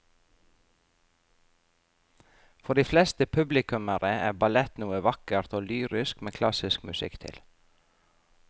For de fleste publikummere er ballett noe vakkert og lyrisk med klassisk musikk til.